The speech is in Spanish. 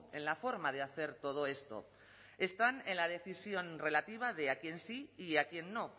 en la forma de hacer todo esto están en la decisión relativa de a quién sí y a quién no